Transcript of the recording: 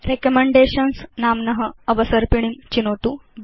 recommendations नाम्न अवसर्पिणीं चिनोतु